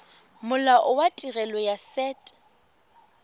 molao wa tirelo ya set